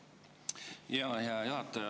Hea juhataja!